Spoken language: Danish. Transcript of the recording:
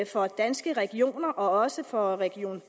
for danske regioner og også for region